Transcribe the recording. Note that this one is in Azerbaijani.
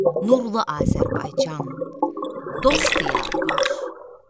Nurlu Azərbaycan, dost diyarı var.